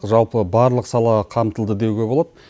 жалпы барлық сала қамтылды деуге болады